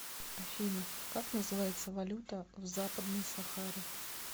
афина как называется валюта в западной сахаре